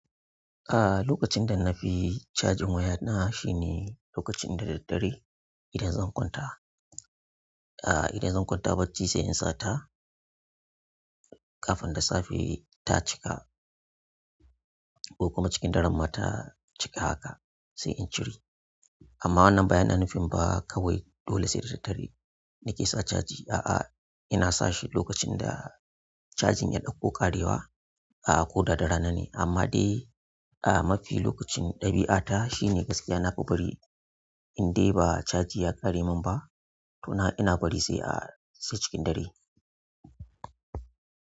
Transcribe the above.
A'a lokacin da na fi cajin waya na shine lokacin dare dare idan zan kwanta. A'a idan zan kwanta bacci sai in sa ta kafin da safe ta cika ko kuma cikin dare ma ta cika haka sai in cire. Amma wannan baya nan fim ba kawai dole sai da daddare nake sa caji. A'a, ina sa shi lokacin da cajin ya ɗauko ƙarewa a ko da ranane amma dai a mafi lokacin ɗabi'ata shine gaskiya na fi bari in dai ba caji ya ƙare min ba to na ina bari sai a sai cikin dare.